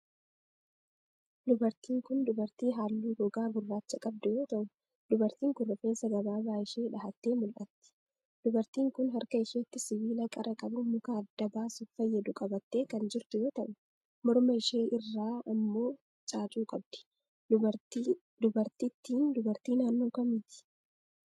Dubartiin kun, dubartii haalluu gogaa gurraacha qabdu yoo ta'u, dubartiin kun rifeensa gabaabaa ishee dhahattee mul'atti. Dubartiin kun, harka isheetti sibiila qara qabu muka adda baasuuf fayyadu qabattee kan jirtu yoo ta'u, morma ishee irraa ammuu caacuu qabdi. Dubartittiin, dubartii naannoo kamiiti?